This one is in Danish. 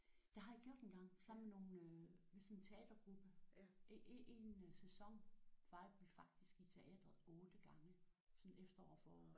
Det har jeg gjort engang. Sammen med nogle øh sådan en teatergruppe. En en en sæson var vi faktisk i teatret 8 gange sådan et efterår forår